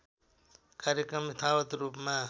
कार्यक्रम यथावत् रूपमा